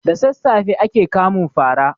Da sassafe ake kamun fara.